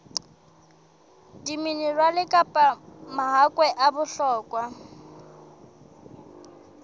diminerale kapa mahakwe a bohlokwa